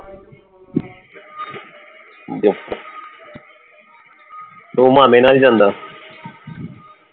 ਉਹ ਮਾਮੇ ਨਾਲ ਹੀ ਜਾਂਦਾ